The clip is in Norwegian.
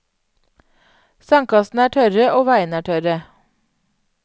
Sandkassene er tørre og veiene er tørre.